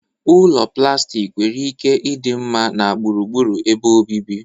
Ụlọ plastik nwere ike ịdị mma na gburugburu ebe obibi.